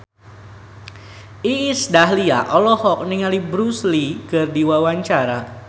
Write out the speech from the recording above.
Iis Dahlia olohok ningali Bruce Lee keur diwawancara